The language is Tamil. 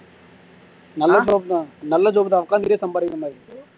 நல்ல job தான் நல்ல job தான் உக்காந்துட்டே சம்பாரிக்கிற மாதிரி